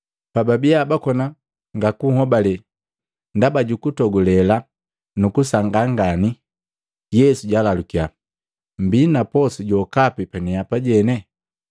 Pababiya bakona ngakuhobale ndaba juku togulela nu kusangaa ngani, Yesu jalalukiya, “Mmbii na posu jokapi panipane?”